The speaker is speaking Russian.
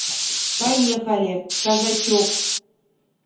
поехали казачок